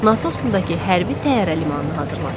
Nasosnudakı hərbi təyyarə limanını hazırlasınlar.